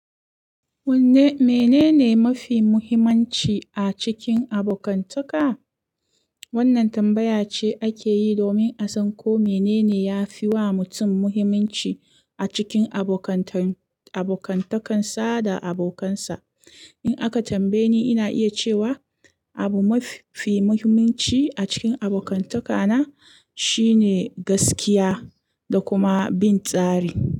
Wanne-mene ne mafi muhimmanci a cikin abokantaka? Wannan tambaya ce ake yi domin a san ko mene ne yafi wa mutum muhimmanci a cikin abokantakan sa da abokansa. In aka tambaye ni, ina iya cewa abu mafi muhimmanci a cikin abokantaka na shine gaskiya da kuma bin tsari.